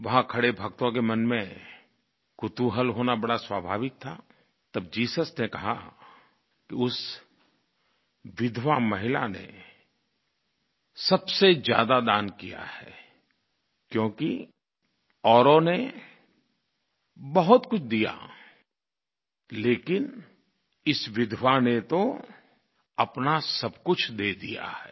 वहाँ खड़े भक्तों के मन में कौतुहल होना बड़ा स्वाभाविक था तब जीसस ने कहा कि उस विधवा महिला ने सबसे ज्यादा दान किया है क्योंकि औरों ने बहुत कुछ दिया लेकिन इस विधवा ने तो अपना सब कुछ दे दिया है